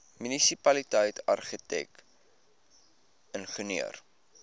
munisipaliteit argitek ingenieur